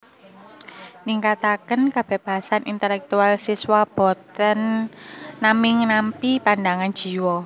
Ningkataken kebebasan intelektual siswa boten naming nampi pandangan dwija